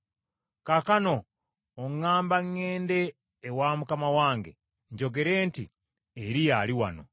Kaakano oŋŋamba ŋŋende ewa mukama wange njogere nti, ‘Eriya ali wano.’